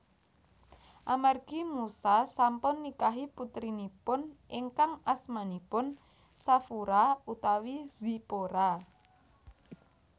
Amargi Musa sampun nikahi putrinipun ingkang asmanipun Shafura utawi Zipora